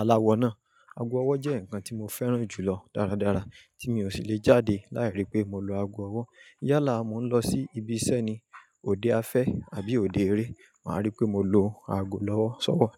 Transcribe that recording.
aláwọ náà. Ago ọwọ́ jẹ́ nǹkan tí mo fẹ́ràn jù lọ dáradára, tí mi ò sì le jáde láì rí pé mo lo ago ọwọ́. Yálà, mò ń lọ sí ibi iṣẹ́ ni, òde afẹ́ àbí òde eré, màá rí pé mo lo ago lọ́wọ́, sọ́wọ̀.